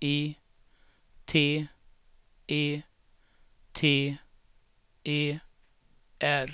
I T E T E R